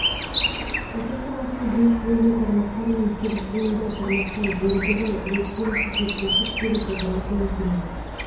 осы шумақты бес буынды тармақтар мен сегіз буынды тармақтар белгілі ретпен кезектесіп келіп отыратынын көреміз